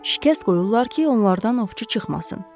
Şikəst qoyurlar ki, onlardan ovçu çıxmasın.